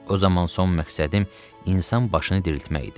O zaman son məqsədim insan başını diriltmək idi.